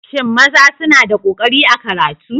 Shin maza suna da ƙoƙari a karatu?